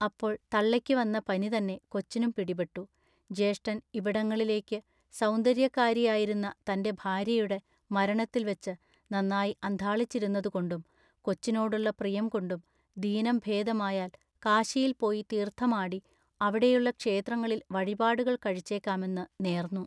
അപ്പോൾ തള്ളയ്ക്കു വന്ന പനി തന്നെ കൊച്ചിനും പിടിപെട്ടു ജ്യേഷ്ഠൻ ഇവിടങ്ങളിലേക്ക് സൗന്ദര്യക്കാരിയായിരുന്ന തന്റെ ഭാര്യയുടെ മരണത്തിൽ വച്ച് നന്നായി അന്ധാളിച്ചിരുന്നതുകൊണ്ടും കൊച്ചിനോടുള്ള പ്രിയംകൊണ്ടും ദീനം ഭേദമായാൽ കാശിയിൽ പോയി തീർത്ഥമാടി അവിടെയുള്ള ക്ഷേത്രങ്ങളിൽ വഴിപാടുകൾ കഴിച്ചേക്കാമെന്ന് നേർന്നു.